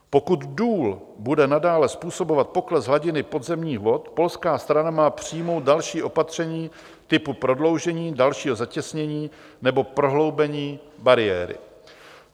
Pokud důl bude nadále způsobovat pokles hladiny podzemních vod, polská strana má přijmout další opatření typu prodloužení, dalšího zatěsnění nebo prohloubení bariéry.